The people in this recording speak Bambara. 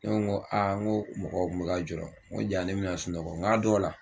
Ne ko n ko n ko mɔgɔ kun bɛka jɔrɔ n ko jaa n bɛna sunɔgɔ n k'a dɔw la